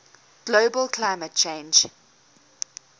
global climate change